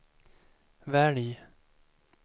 välj